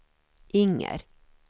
Inger